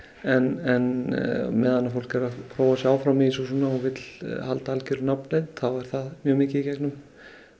en á meðan fólk er að prófa sig áfram og vill halda algjörri nafnleynd þá er það mjög mikið í gegnum